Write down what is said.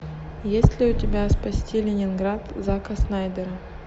есть ли у тебя спасти ленинград зака снайдера